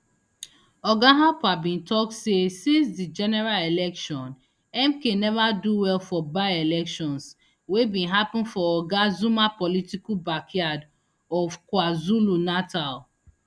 oga harper bin tok say since di general election mk neva do well for byelections wey bin happun for oga zuma political backyard of kwazulunatal